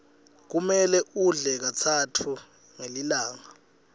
kumele udle katsatfu ngelilanga